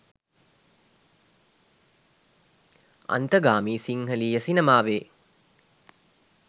අන්තගාමී සිංහලීය සිනමාවේ